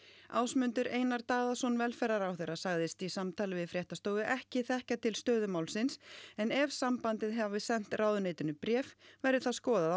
Ásmundur Einar Daðason velferðarráðherra sagðist í samtali við fréttastofu ekki þekkja til stöðu málsins en ef sambandið hafi sent ráðuneytinu bréf verði það skoðað á